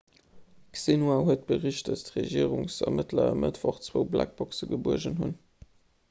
d'xinhua huet bericht datt d'regierungsermëttler e mëttwoch zwou blackboxen gebuergen hunn